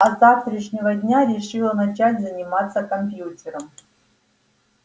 а с завтрашнего дня решила начать заниматься компьютером